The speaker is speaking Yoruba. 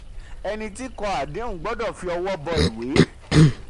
32. ẹni tí kọ àdéhùn gbọ́dọ̀ fi ọwọ́ bọ́ ìwé.